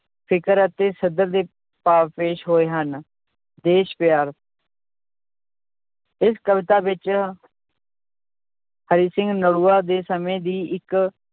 ਫ਼ਿਕਰ ਅਤੇ ਸਧਰ ਦੇ ਭਾਵ ਪੇਸ਼ ਹੋਏ ਹਨ, ਦੇਸ ਪਿਆਰ ਇਸ ਕਵਿਤਾ ਵਿੱਚ ਹਰੀ ਸਿੰਘ ਨਲੂਆ ਦੇ ਸਮੇਂ ਦੀ ਇੱਕ